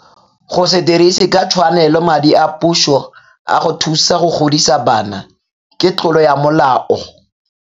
Go se dirise ka tshwanelo madi a puso a go thusa go godisa bana ke tlolo ya molao.